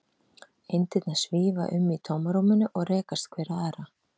Eindirnar svífa um í tómarúminu og rekast hver á aðra.